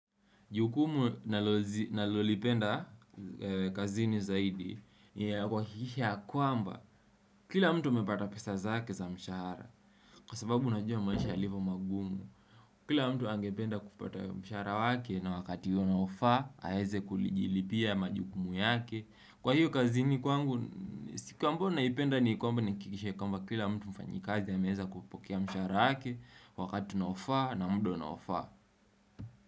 Jukumu nalozi nalolipenda kazini zaidi ni ya kuhakikisha ya kwamba kila mtu amepata pesa zake za mshahara kwa sababu unajua maisha yalivyo magumu, kila mtu angependa kupata mshahara wake na wakati unaofaa aweze kulijilipia majukumu yake kwa hiyo kazini kwangu, siku ambayo naipenda ni kwamba kwamba kila mtu mfanyikazi anaweza kuipokea mshahara wake Wakati unaofaa na muda unaofaa.